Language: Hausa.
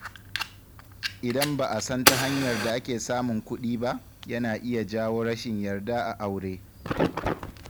Idan ba a san ta hanyar da ake samun kuɗi ba, yana iya jawo rashin yarda a aure.